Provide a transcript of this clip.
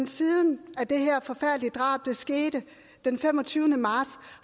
siden det her forfærdelige drab skete den femogtyvende marts